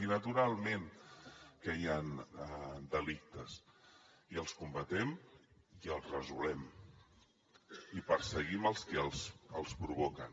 i naturalment que hi han delictes i els combatem i els resolem i perseguim els qui els provoquen